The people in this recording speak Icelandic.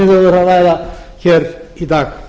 höfum verið að ræða í dag